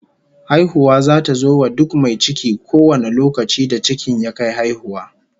Haihuwa zata zo wa duk mai ciki kowane lokaci da cikin ya kai haihuwa